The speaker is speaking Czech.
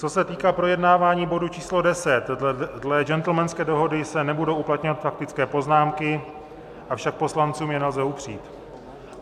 Co se týká projednávání bodu číslo 10, dle gentlemanské dohody se nebudou uplatňovat faktické poznámky, avšak poslancům je nelze upřít.